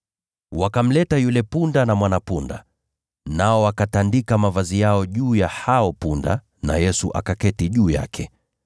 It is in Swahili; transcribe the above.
Wakamleta yule punda na mwana-punda, nao wakatandika mavazi yao juu ya hao punda, naye Yesu akaketi juu yake.